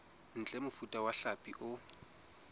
ntle mofuta wa hlapi o